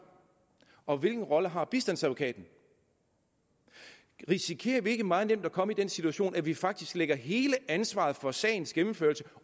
og hvilken rolle har bistandsadvokaten risikerer vi ikke meget nemt at komme i den situation at vi faktisk lægger hele ansvaret for sagens gennemførelse